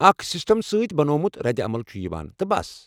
اکھ سسٹم سۭتۍ بنوومُت ردعمل چھ یوان، تہٕ بس ۔